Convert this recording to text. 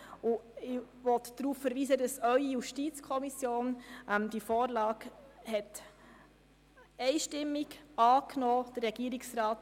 Ich möchte darauf verweisen, dass Ihre JuKo diese Vorlage einstimmig angenommen hat.